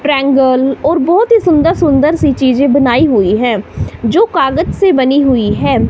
Triangle और बहोत ही सुंदर सुंदर सी चीजे बनाई हुई है जो कागज से बनी हुई है।